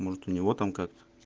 может у него там как